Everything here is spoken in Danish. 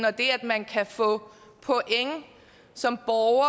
og det at man kan få point som borger